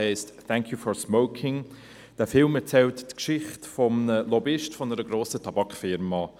Dieser Film erzählt die Geschichte eines Lobbyisten einer grossen Tabakfirma.